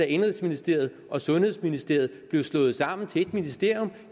indenrigsministeriet og sundhedsministeriet blev slået sammen til et ministerium